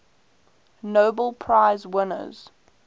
nobel prize winners